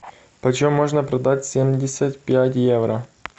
почем можно продать семьдесят пять евро